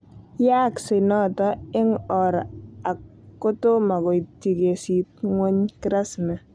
Yaakse noto eng' or ne ak ko tomo koitchi kesiit ng'wong' kirasmi